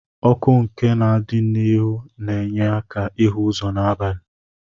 Ọkụ nke na adi n'iru na enye aka ihu ụzọ na abali.